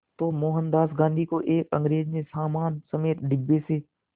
तो मोहनदास गांधी को एक अंग्रेज़ ने सामान समेत डिब्बे से